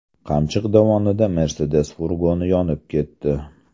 Qamchiq dovonida Mercedes furgoni yonib ketdi.